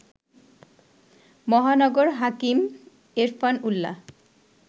মহানগর হাকিম এরফান উল্লাহ